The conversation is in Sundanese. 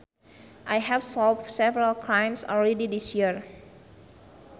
I have solved several crimes already this year